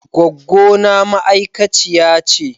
Goggona ma'aikaciya ce.